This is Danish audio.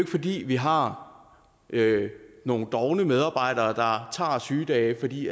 fordi vi har nogle dovne medarbejdere der tager sygedage fordi